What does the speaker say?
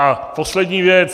A poslední věc.